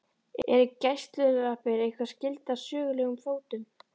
Eru gæsalappir eitthvað skyldar sögulegum fótum?